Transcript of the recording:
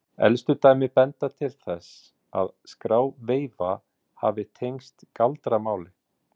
Elstu dæmi benda til þess að skráveifa hafi tengst galdramáli.